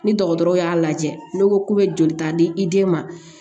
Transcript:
Ni dɔgɔtɔrɔ y'a lajɛ n'u ko k'u bɛ jolita di i den ma